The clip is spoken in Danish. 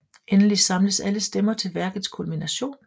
Endelig samles alle stemmer til værkets kulminationen